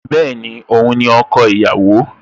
Bẹ́ẹ̀ni, Òun ni ọkọ ìyàwó